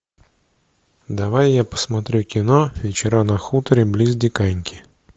давай я посмотрю кино вечера на хуторе близ диканьки